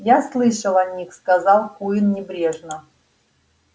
я слышал о них сказал куинн небрежно